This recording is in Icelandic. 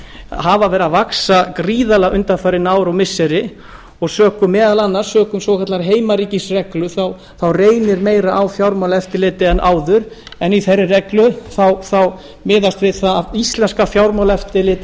hafa verið að vaxa gríðarlega undanfarin ár og missiri og meðal annars sökum heimaríkisreglu reynir meira á fjármálaeftirlitið en áður en í þeirri reglu miðast við að íslenska fjármálaeftirlitið